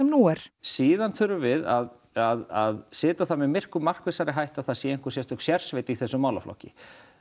nú er síðan þurfum við að setja það með miklu markvissari hætti að það sé einhver sérstök sérsveit í þessum málaflokki